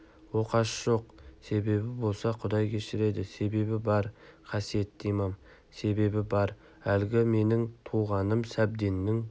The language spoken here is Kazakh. оқасы жоқ себебі болса құдай кешіреді себебі бар қасиетті имам себебі бар әлгі менің туғаным сәбденнің